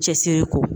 Cɛsiri ko